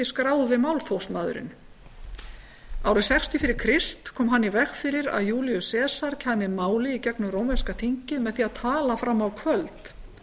skráði málþófsmaðurinn árið sextíu fyrir krist kom hann í veg fyrir að júlíus sesar kæmi máli í gegnum rómverska þingið með því að tala fram á kvöld